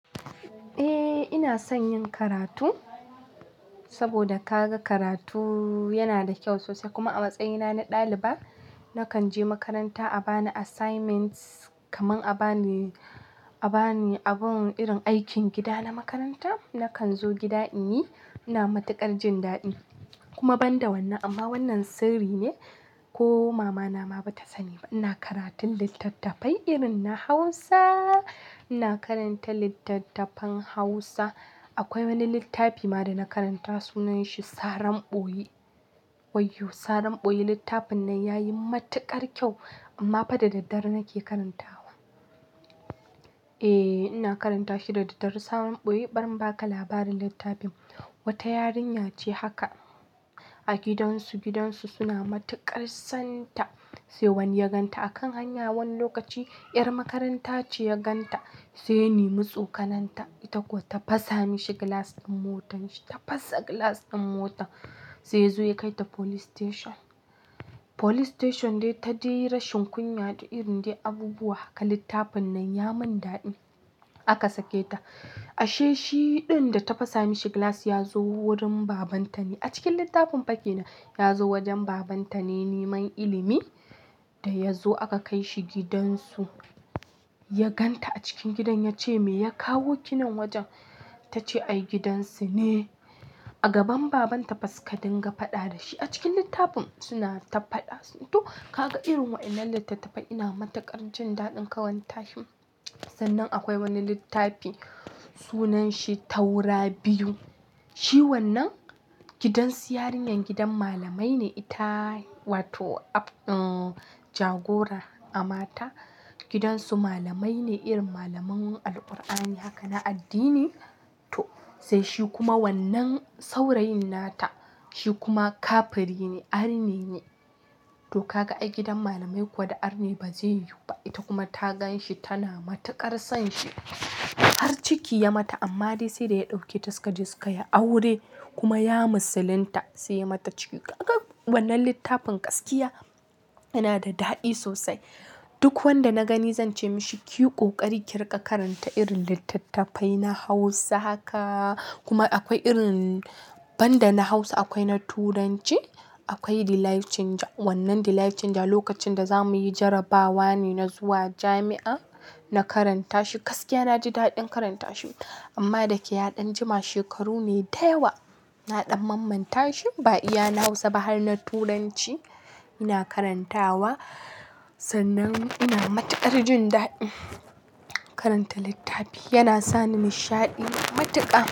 Eh ina son yin karatu saboda ka ga karatu yana da kyau sosai kuma a matsayina na ɗaliba nakan je makaranta a bani assignments kamar a bani abin irin aikin gida na makaranta nakan zo gida in yi. Ina matuƙar jin daɗi kuma ban da wanne amma wannan sirri ne ko mamana ma ba ta sani ba. Ina karatun littattafai irin na Hausa, ina karanta littattafan Hausa. Akwai wani littafi ma da na karanta sunan shi Saran boye. Waiyo Saran ɓoyi littafin nan ya yi matuƙar kyau amma fa da daddare nake karantawa. Eh ina karanta shi da daddare. Saran boye bari in bari inbaka labarin littafin. Wata yarinya ce haka a gidansu, gidansu suna matuƙar son ta sai wani ya gan ta a kan hanya wani lokaci. 'Yar makaranta ce ya gan ta sai ya nemi tsokananta. Ita kuwa ta fasa mashi glass din motar shi, ta fasa glass din motar sai ya zo ya kai ta police station. Police station dai ta yi rashin kunya da irin dai abubuwa haka littafin nan ya mun daɗi. Aka sake ta ashe shi ɗin da ta fasa mashi glass ya zo wurin babanta ne a cikin littafin baƙi nan. Ya zo wajen babanta ne neman ilimi da ya zo aka kai shi gidansu. Ya gan ta a cikin gidan ya ce "me ya kawo ki nan wajen?" Ta ce "ai gidansu ne." A gaban babanta faska dinga faɗa da shi a cikin littafin suna ta faɗa. To ka ga irin waɗannan littattafai ina matuƙar jin daɗin karantashin. Sannan akwai wani littafi sunan shi Taura biyu. Shi wannan gidansu yarinyar gidan malamai ne ita wato jagora a mata. Gidansu malamai ne irin malaman Alqur'ani haka na addini. To sai shi kuma wannan saurayin nata shi kuma kafiri ne, arne ne. To kaga ai gidan malamai kuwa da arne ba zai yiwu ba. Ita kuma ta gan shi tana matuƙar son shi. Har ciki ya mata amma dai sai da ya ɗauke ta suka je suka yi aure kuma ya musulinta sai ya mata ciki. Kaga wannan littafin gaskiya yana da daɗi sosai. Duk wanda na gani zan ce mashi ki yi ƙoƙari ki riƙa karanta irin littattafai na Hausa haka kuma akwai irin banda na Hausa akwai na Turanci. Akwai Delight Chinger. Wannan Delight Chinger lokacin da za muyi jarrabawa ne na zuwa jami'a na karanta shi. Gaskiya na ji daɗin karanta shi amma da ke yaɗan jima shekaru ne da yawa na ɗan mamman ta shi. Ba iya na Hausa ba har na Turanci ina karantawa sannan ina matuƙar jin daɗi. Karanta littafi yana sani masha'idi matuƙa.